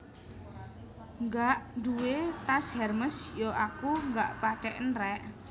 Gak duwe tas Hermes yo aku ga patheken rek